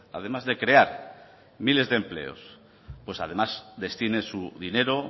además de crear miles de empleos pues además destine su dinero